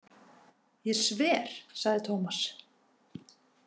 Ég sver, sagði Tómas.